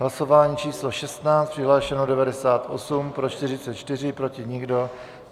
Hlasování číslo 16. Přihlášeno 98, pro 44, proti nikdo.